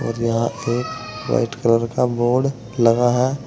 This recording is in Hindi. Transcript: और यहां एक वाइट कलर का बोर्ड लगा है।